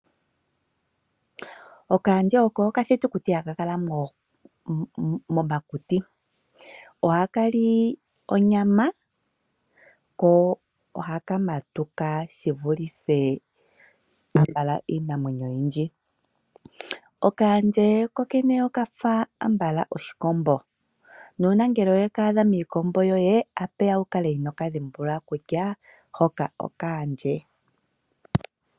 Okaandje oko okathitukuti haka kala momakuti. Ohaka li onyama, ko ohaka matuka shi vulithe ambala iinamwenyo oyindji. Okaandje kokene oka fa ambala oshikombo. Nuuna ngele we ka adha miikombo yoye, otashi vulika wu kale inoo ka dhimbulula kutya hoka okaandje.